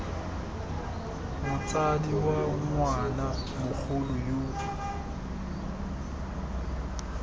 motsadi wa ngwana mogolo yo